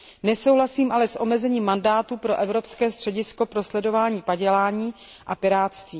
Nesouhlasím ale s omezením mandátu pro Evropské středisko pro sledování padělání a pirátství.